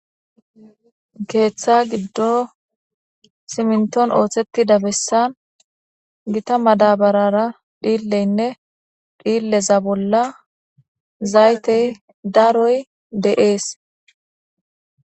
Keththa giddon siminton ooththettida bessan gitta madabarara dhileynne dhileza bolla zayttey daroy de'ees